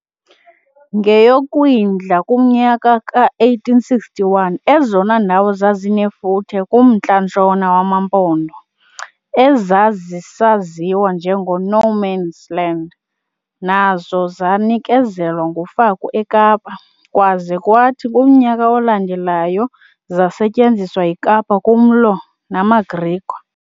NgeyoKwindla kumnyaka ka-1861 ezona ndawo zazinefuthe kummntla-ntshona wamaMpondo, ezazisaziwa njengo-"no-mans-land", nazo zanikezelwa nguFaku eKapa, kwaza kwathi kumnyaka olandelayo zasetyenziswa yiKapa kumlo namaGriqua.